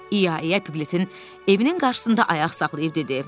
İya İya Piklətin evinin qarşısında ayaq saxlayıb dedi.